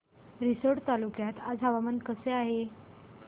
रिसोड तालुक्यात आज हवामान कसे आहे